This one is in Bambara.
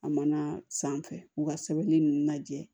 A mana san fɛ u ka sɛbɛnni ninnu lajɛ